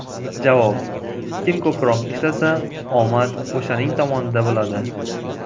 Javob: Kim ko‘proq ishlasa, omad o‘shaning tomonida bo‘ladi.